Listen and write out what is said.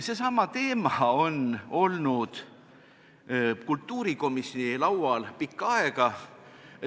Seesama teema on kultuurikomisjoni laual olnud pikka aega.